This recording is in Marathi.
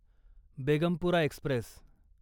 बेगमपुरा एक्स्प्रेस